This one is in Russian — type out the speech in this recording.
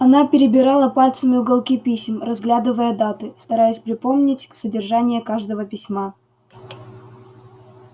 она перебирала пальцами уголки писем разглядывая даты стараясь припомнить содержание каждого письма